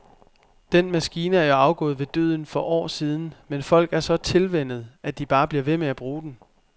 Den maskine er jo afgået ved døden for år siden, men folk er så tilvænnet, at de bare bliver ved med at bruge den.